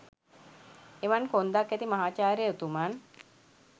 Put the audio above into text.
එවන් කොන්දක් ඇති මහාචාර්ය උතුමන්